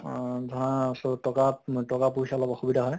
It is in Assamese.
অহ ধৰা so টকা অ টকা পইছাৰ অলপ অসুবিধা হয়